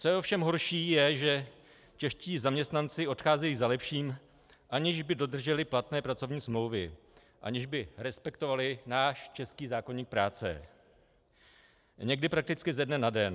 Co je ovšem horší, je, že čeští zaměstnanci odcházejí za lepším, aniž by dodrželi platné pracovní smlouvy, aniž by respektovali náš český zákoník práce, někdy prakticky ze dne na den.